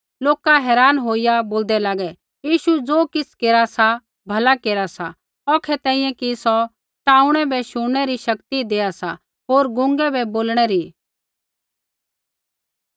लोका हैरान होईया बोलदै लागै यीशु ज़ो किछ़ केरा सा भला केरा सा औखै तैंईंयैं कि सौ टाऊँणै बै शुणनै री शक्ति देआ सा होर गूंगे बै बोलणै री